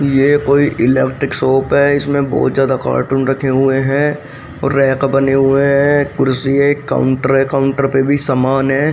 ये कोई electric shop है इसमें बहुत ज्यादा कार्टून रखे हुए हैं और रैक बने हुए हैं कुर्सी है एक काउंटर है काउंटर पे भी समान है।